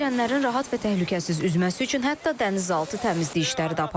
Dənizə girənlərin rahat və təhlükəsiz üzməsi üçün hətta dənizaltı təmizlik işləri də aparılır.